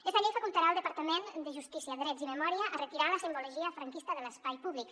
esta llei facultarà el departament de justícia drets i memòria a retirar la simbologia franquista de l’espai públic